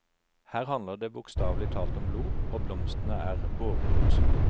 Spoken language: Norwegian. Her handler det bokstavelig talt om blod, og blomstene er båreroser.